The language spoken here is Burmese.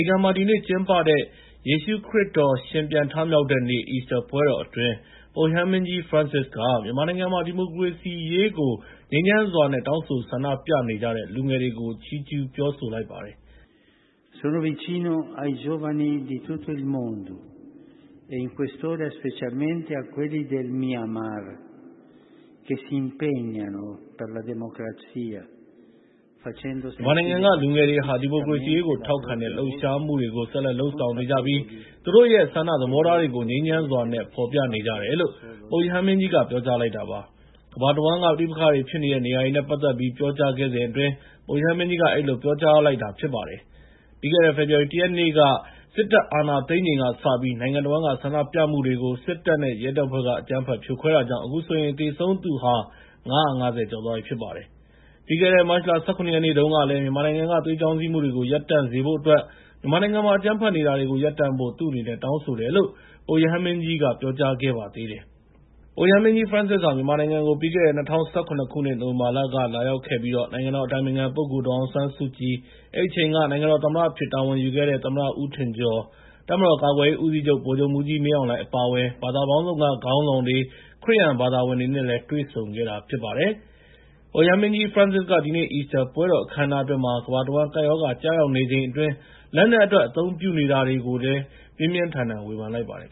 ီကန်မှာ ဒီနေ့ကျင်းပတဲ့ ယေရှုခရစ်တော် ရှင်ပြန်ထမြောက်တဲ့နေ့ အီစတာပွဲတော်အတွင်း ပုပ်ရဟန်းမင်းကြီး Francis က မြန်မာနိုင်ငံမှာ ဒီမိုကရေစီရေးကို ငြိမ်းချမ်းစွာနဲ့ တောင်းဆိုဆန္ဒပြနေကြတဲ့ လူငယ်တွေကို ချီးကျူးပြောဆိုလိုက်ပါတယ်။ “မြန်မာနိုင်ငံက လူငယ်တွေဟာ ဒီမိုကရေစီရေးကို ထောက်ခံတဲ့ လှုပ်ရှားမှုတွေကို ဆက်လက် လုပ်ဆောင်နေကြပြီး သူတို့ရဲ့ ဆန္ဒသဘောထားတွေကို ငြိမ်းချမ်းစွာနဲ့ ဖော်ပြနေကြတယ်” လို့ ပုပ်ရဟန်းမင်းကြီးက ပြောကြားလိုက်တာပါ။ ကမ္ဘာတဝန်းက ပဋိပက္ခဖြစ်နေတဲ့ နေရာတွေနဲ့ ပတ်သက်ပြီး ပြောကြားခဲ့စဉ်အတွင်း ပုပ်ရဟန်းမင်းကြီးက အဲဒီလို ပြောကြားလိုက်တာပါ။ ပြီးခဲ့တဲ့ ဖေဖော်ဝါရီလ ၁ ရက်နေ့က စစ်တပ်အာဏာသိမ်းချိန်ကစပြီး နိုင်ငံတဝန်းက ဆန္ဒပြမှုတွေကို စစ်တပ်နဲ့ ရဲတပ်ဖွဲ့က အကြမ်းဖက် ဖြိုခွဲခဲ့တာကြောင့် အခုဆိုရင် သေဆုံးသူဟာ ၅၅၀ ကျော်သွားပြီ ဖြစ်ပါတယ်။ ပြီးခဲ့တဲ့ မတ်လ ၁၇ ရက်နေ့တုန်းကလည်း မြန်မာနိုင်ငံက သွေးချောင်းစီးမှုတွေကို ရပ်တန့်စေဖို့အတွက် မြန်မာနိုင်ငံမှာ အကြမ်းဖက်နေတာတွေကို ရပ်တန့်ဖို့ တောင်းဆိုတယ်လို့ ပုပ်ရဟန်းမင်းကြီးက ပြောကြားခဲ့ပါသေးတယ်။ ပုပ်ရဟန်းမင်းကြီး Francis ဟာ ပြီးခဲ့တဲ့ ၂၀၁၇ ခုနှစ် နိုဝင်ဘာလက မြန်မာနိုင်ငံကို သွားရောက်ခဲ့ပြီး နိုင်ငံတော်အတိုင်ပင်ခံပုဂ္ဂိုလ် ဒေါ်အောင်ဆန်းစုကြည်၊ အဲဒီအချိန်က နိုင်ငံတော်သမ္မတအဖြစ် တာဝန်ယူခဲ့တဲ့ သမ္မတ ဦးထင်ကျော်၊ တပ်မတော်ကာကွယ်ရေးဦးစီးချုပ် ဗိုလ်ချုပ်မှူးကြီး မင်းအောင်လှိုင် အပါအဝင် ဘာသာပေါင်းစုံက ခေါင်းဆောင်တွေ၊ ခရစ်ယာန်ဘာသာဝင်တွေနဲ့ တွေ့ဆုံခဲ့တာ ဖြစ်ပါတယ်။ ပုပ်ရဟန်းမင်းကြီး Francis က ဒီနေ့ အီစတာပွဲတော် အခမ်းအနားအတွင်း ကမ္ဘာတဝန်း ကပ်ရောဂါကျရောက်နေချိန်အတွင်း လက်နက်အတွက် အသုံးပြုနေတာတွေကိုလည်း ပြင်းပြင်းထန်ထန် ဝေဖန်လိုက်ပါတယ်